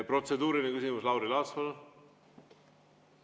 Protseduuriline küsimus, Lauri Laats, palun!